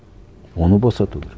оны босату керек